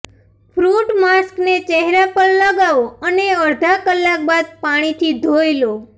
fruit માસ્કને ચહેરા પર લગાવો અને અડધા કલાક બાદ પાણીથી ધોઈ લો